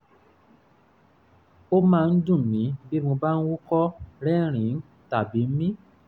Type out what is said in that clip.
ó máa ń dun mí bí mo bá ń húkọ́ rẹ́rìn-ín tàbí mí